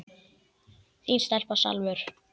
Þín stelpa, Salvör.